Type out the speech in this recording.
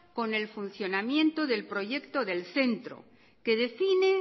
con el funcionamiento del proyecto del centro que define